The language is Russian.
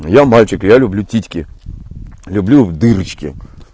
я мальчик я люблю титьки люблю дырочки